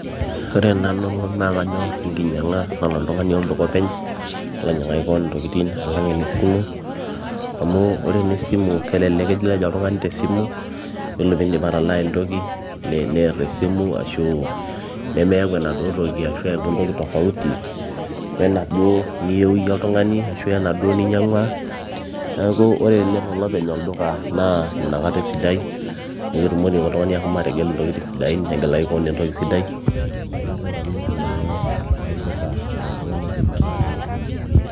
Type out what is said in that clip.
ore nanu naa kanyorr enkinyiang'a nalo oltung'ani olduka openy nelo ainyiang'aki koon intokitin alang enesimu amu ore enesimu naa kelelek kilej oltung'ani tesimu yiolo piindip atalaa entoki nerr esimu ashu nemeyau enaduo toki ashu eeku entoki tofauti wenaduo niyieu iyie oltung'ani ashu enaduo ninyiang'ua neeku ore tenelo olopeny olduka naa inakata esidai amu ketumoki oltung'ani ahomo ategelu intokitin sidain negelaki kewon entoki sidai neeku karrep nanu enkinyiang'a olduka nalo oltung'ani openy alang enesimu.